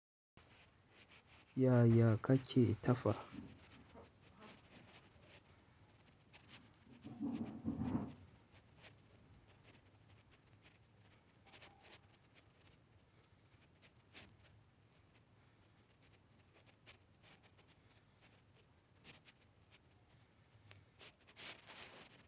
Yaya ka ke tafa?